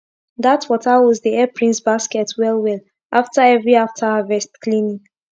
dat water hose dey epp rinse basket well well after every after harvest cleaning